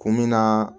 Kun bi na